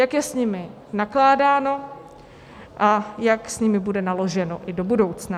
Jak je s nimi nakládáno a jak s nimi bude naloženo i do budoucna.